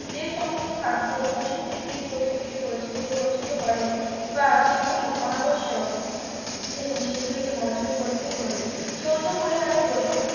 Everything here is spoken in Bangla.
যে সমস্ত খাদ্য পশুবৃত্তিক প্রবৃত্তিকে বঞ্চিত বঞ্চিত করে তা সেগুলি অনাবশ্যক যেগুলি সেগুলিকে বর্জন করিতে হইবে চর্য পরিহারে ব্রত